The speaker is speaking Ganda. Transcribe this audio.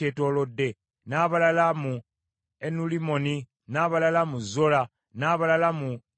n’abalala mu Enulimmoni, n’abalala mu Zola, n’abalala mu Yalamusi,